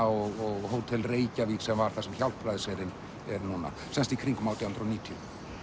og Hótel Reykjavík sem var þar sem Hjálpræðisherinn er núna sem sagt í kringum átján hundruð og níutíu